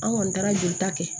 An kɔni taara jolita kɛ